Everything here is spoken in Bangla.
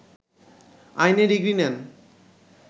আইনে ডিগ্রি নেন